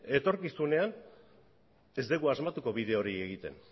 etorkizunean ez dugu asmatuko bide hori egiten